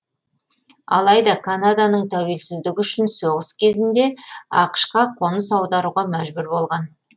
алайда канаданың тәуелсіздігі үшін соғыс кезінде ақш қа қоныс аударуға мәжбүр болған